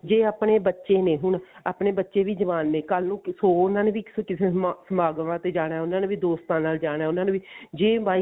ਜੇ ਆਪਣੇ ਬੱਚੇ ਨੇ ਹੁਣ ਆਪਣੇ ਬੱਚੇ ਵੀ ਜਵਾਨ ਨੇ ਕੱਲ ਨੂੰ ਉਹਨਾ ਨੇ ਵੀ ਕਿਸੇ ਸਮਾ ਸਮਾਗਮਾ ਤੇ ਜਾਣਾ ਉਹਨਾ ਨੇ ਵੀ ਦੋਸਤਾ ਨਾਲ ਜਾਣਾ ਜੇ by